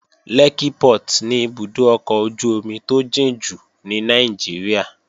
Lẹ́kkí Port ni ibùdó ọkọ̀ ojú-omi tó jìn jù ní Nàìjíríà